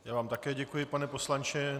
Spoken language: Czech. Já vám také děkuji, pane poslanče.